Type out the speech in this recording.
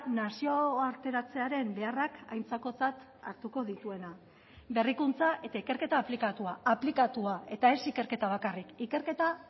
nazioarteratzearen beharrak aintzakotzat hartuko dituena berrikuntza eta ikerketa aplikatua aplikatua eta ez ikerketa bakarrik ikerketa